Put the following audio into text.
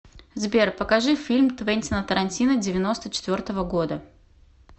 сбер покажи фильм твентина тарантино девяносто четвертого года